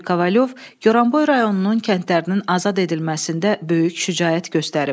Yuri Kovalyov Goranboy rayonunun kəndlərinin azad edilməsində böyük şücaət göstərib.